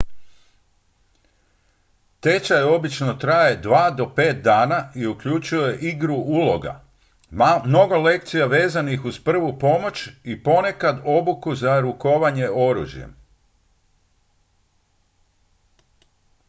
tečaj obično traje 2 do 5 dana i uključuje igru uloga mnogo lekcija vezanih uz prvu pomoć i ponekad obuku za rukovanje oružjem